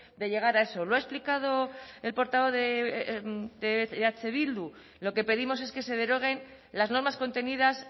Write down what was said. de llegar a eso lo ha explicado el portavoz de eh bildu lo que pedimos es que se deroguen las normas contenidas